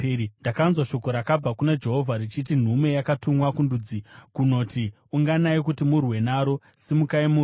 Ndakanzwa shoko rakabva kuna Jehovha, richiti: Nhume yakatumwa kundudzi kunoti, “Unganai kuti murwe naro! Simukai murwe!”